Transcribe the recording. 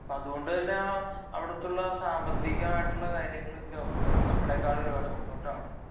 അതുകൊണ്ട് തന്ന അവിടുത്തെ സാമ്പത്തികമായിട്ടുള്ള കാര്യങ്ങൾ ഒക്കെത്തന്നെ നമ്മളെക്കാൾ മുന്നോട്ടാണ്